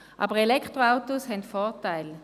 Aber Elektroautos haben Vorteile.